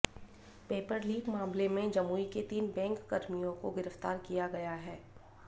paper leak मामले में जमुई के तीन बैंककर्मियों को गिरफ्तार किया गया है